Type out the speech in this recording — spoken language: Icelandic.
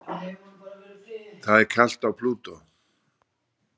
Það er kalt á Plútó.